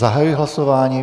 Zahajuji hlasování.